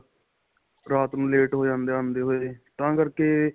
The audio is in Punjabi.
ਰਾਤ ਨੂੰ ਲੇਟ ਹੋ ਜਾਂਦੇ ਆਂਦੇ ਹੋਏ ਤਾਂ ਕਰਕੇ